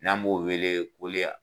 N'an b'o wele